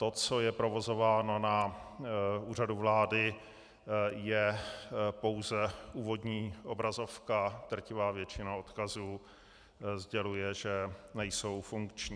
To, co je provozováno na Úřadu vlády, je pouze úvodní obrazovka, drtivá většina odkazů sděluje, že nejsou funkční.